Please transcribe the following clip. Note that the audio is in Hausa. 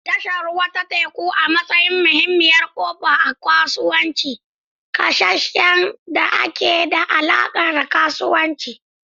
Tashar ruwa ta teku, a matsayin muhimmiyar ƙofa ta kasuwanci, ƙasashen da ke da alaƙa da kasuwanci.